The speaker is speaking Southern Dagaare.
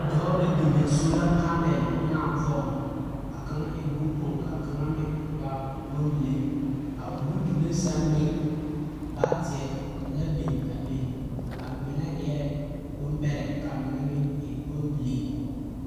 Dͻͻ la bini sola panele ŋmenaa poͻŋ. A kaŋa e boŋkpoŋ ka a kaŋ meŋ waa bombile. A o nu doloŋ meŋ sԑŋ baateԑ la biŋ la a be. A mine eԑ bombԑrԑ ka a mine meŋ bombilii.